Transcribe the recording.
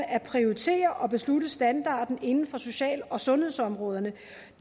at prioritere og beslutte standarden inden for social og sundhedsområderne